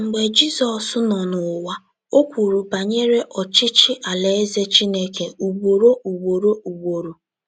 Mgbe Jizọs nọ n’ụwa, o kwuru banyere ọchịchị Alaeze Chineke ugboro ugboro. ugboro.